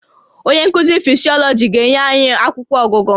Onye nkuzi Physiology ga-enye anyị akwụkwọ ọgụgụ